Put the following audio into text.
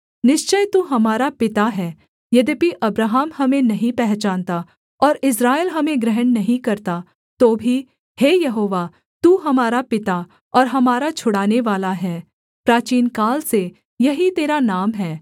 निश्चय तू हमारा पिता है यद्यपि अब्राहम हमें नहीं पहचानता और इस्राएल हमें ग्रहण नहीं करता तो भी हे यहोवा तू हमारा पिता और हमारा छुड़ानेवाला है प्राचीनकाल से यही तेरा नाम है